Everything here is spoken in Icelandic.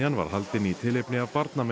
var haldin í tilefni af